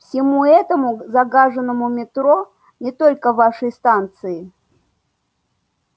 всему этому загаженному метро не только вашей станции